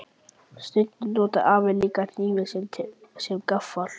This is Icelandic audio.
Stundum notar afi líka hnífinn sinn sem gaffal.